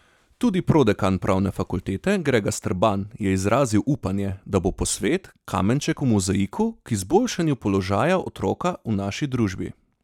Tudi prodekan pravne fakultete Grega Strban je izrazil upanje, da bo posvet kamenček v mozaiku k izboljšanju položaja otroka v naši družbi.